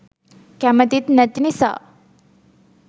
කැමතිත් නැති නිසා